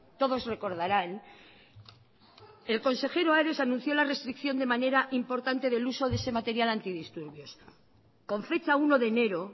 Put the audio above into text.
todos recordarán el consejero ares anunció la restricción de manera importante del uso de ese material antidisturbios con fecha uno de enero